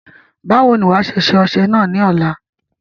Báwo ni wàá ṣe ṣe ọṣẹ náà ní ọ̀la?